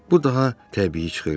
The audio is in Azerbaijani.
Bu daha təbii çıxırdı.